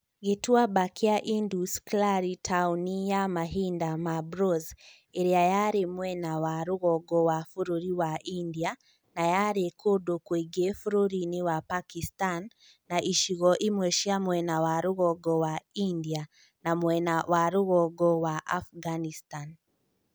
Gĩtuamba kĩa Indus KIarĩ taũni ya mahinda ma Bronze ĩrĩa yarĩ mwena wa rũgongo rwa bũrũri wa India, na yarĩ kũndũ kũingĩ bũrũri-inĩ wa Pakistan na icigo imwe cia mwena rwa rũgongo wa India na mwena rwa rũgongo wa Afghanistan.